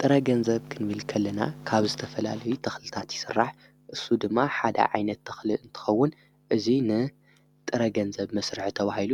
ጥረ ገንዘብ ክንብል ከልና ካብ ዝተፈላለየ ተኽልታት ይስራሕ፡፡ እሱ ድማ ሓደ ዓይነት ተኽል እንትኸውን እዙይ ንጥረ ገንዘብ መሥርሖ ተዋሂሉ